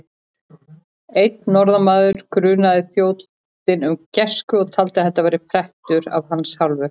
Einn norðanmaður grunaði þrjótinn um græsku og taldi að þetta væri prettur af hans hálfu.